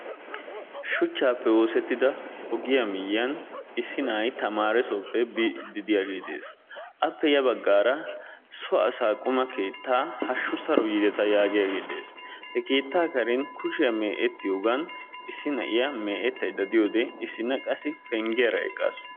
Shuchchappe oosettida ogiyaa miyyiyan issi na'ay tamaaressoppe biidi diyaage de'ees. Appe ya baggaara so asaa quma keetta hashshu saro yiideta yaagiyaage de'ees. He keetta karen kushiyaa me"ettiyoogan issi mee'etaydda diyoode issina qassi penggiyaara eqqaasu.